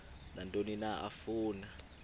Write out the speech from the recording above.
nantoni na afuna